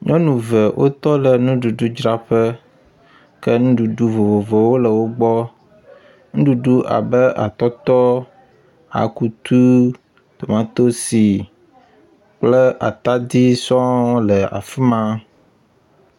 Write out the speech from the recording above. Nyɔnu ve wotɔ ɖe nuɖuɖdzraƒe ke nuɖuɖu vovovowo le wo gbɔ. Nuɖuɖu abe atɔtɔ, akutu, tomatosi kple atadi sɔ le afi ma.